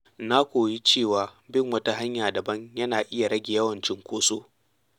Na koyi cewa bin wata hanya daban yana iya rage yawan cunkoso.